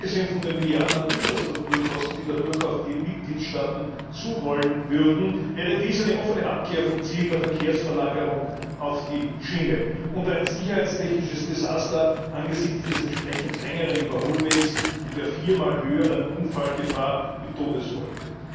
Abgesehen von den Milliarden von Infrastrukturkosten, die dadurch auf die Mitgliedstaaten zurollen würden, wäre dies eine offene Abkehr vom Ziel der Verkehrsverlagerung auf die Schiene und ein sicherheitstechnisches Desaster angesichts des entsprechend längeren Überholwegs und der viermal höheren Unfallgefahr mit Todesfolge.